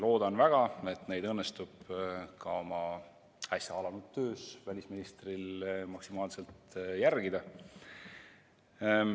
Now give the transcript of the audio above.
Loodan väga, et neid õnnestub välisministril oma äsja alanud töös maksimaalselt järgida.